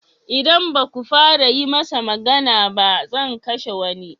Idan ba ku fara yi masa magani ba, zan kashe wani.